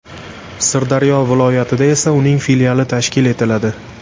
Sirdaryo viloyatida esa uning filiali tashkil etiladi.